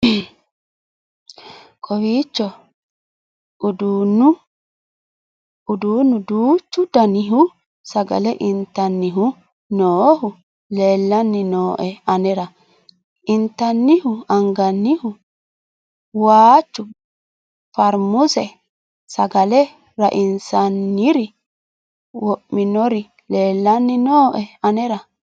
kowiicho uduunnu duuchu dannihu sagale intannihu noohu leelanni nooe anera intannihu angannihu waanchu farmuuse sagale raisi'nanniri wo'minnori leellanni noe anera